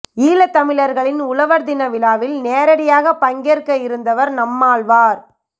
ஈழத் தமிழர்களின் உழவர் தின விழாவில் நேரடியாக பங்கேற்க இருந்தவர் நம்மாழ்வார்